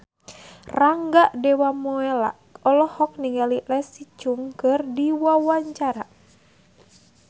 Rangga Dewamoela olohok ningali Leslie Cheung keur diwawancara